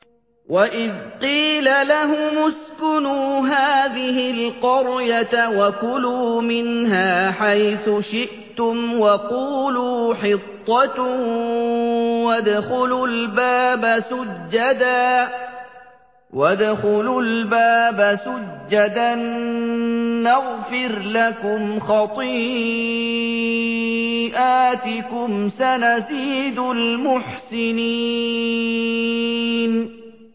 وَإِذْ قِيلَ لَهُمُ اسْكُنُوا هَٰذِهِ الْقَرْيَةَ وَكُلُوا مِنْهَا حَيْثُ شِئْتُمْ وَقُولُوا حِطَّةٌ وَادْخُلُوا الْبَابَ سُجَّدًا نَّغْفِرْ لَكُمْ خَطِيئَاتِكُمْ ۚ سَنَزِيدُ الْمُحْسِنِينَ